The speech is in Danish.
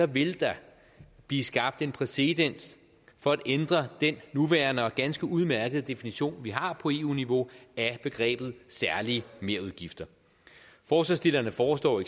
vil der blive skabt en præcedens for at ændre den nuværende og ganske udmærkede definition vi har på eu niveau af begrebet særlige merudgifter forslagsstillerne foreslår